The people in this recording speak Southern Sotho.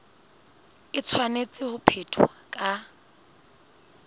e tshwanetse ho phethwa ka